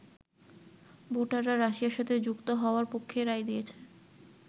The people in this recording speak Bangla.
ভোটাররা রাশিয়ার সাথে যুক্ত হওয়ার পক্ষেই রায় দিয়েছে।